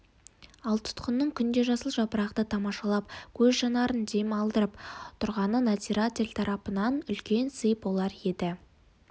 ал тұтқынның күнде жасыл жапырақты тамашалап көз жанарын дем алдырып тұрғаны надзиратель тарапынан үлкен сый болар еді